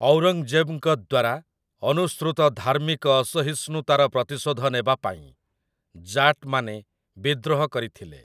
ଔରଙ୍ଗଜେବ୍‌ଙ୍କ ଦ୍ୱାରା ଅନୁସୃତ ଧାର୍ମିକ ଅସହିଷ୍ଣୁତାର ପ୍ରତିଶୋଧ ନେବା ପାଇଁ ଜାଟ୍‌ମାନେ ବିଦ୍ରୋହ କରିଥିଲେ ।